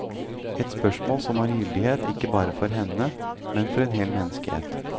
Et spørsmål som har gyldighet ikke bare for henne, men for en hel menneskehet.